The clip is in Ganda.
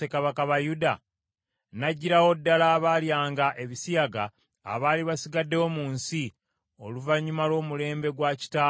N’aggyirawo ddala abaalyanga ebisiyaga abaali basigaddewo mu nsi, oluvannyuma lw’omulembe gwa kitaawe Asa.